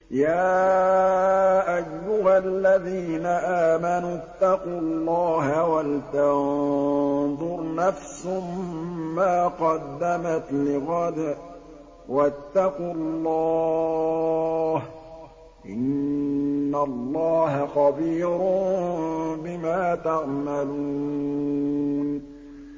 يَا أَيُّهَا الَّذِينَ آمَنُوا اتَّقُوا اللَّهَ وَلْتَنظُرْ نَفْسٌ مَّا قَدَّمَتْ لِغَدٍ ۖ وَاتَّقُوا اللَّهَ ۚ إِنَّ اللَّهَ خَبِيرٌ بِمَا تَعْمَلُونَ